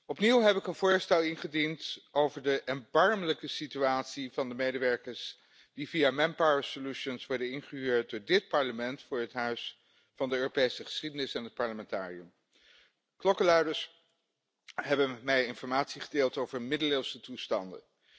Opnieuw heb ik een voorstel ingediend over de erbarmelijke situatie van de medewerkers die via Manpower Solutions werden ingehuurd door dit Parlement voor het Huis van de Europese geschiedenis en het Parlamentarium. Klokkenluiders hebben met mij informatie gedeeld over middeleeuwse toestanden.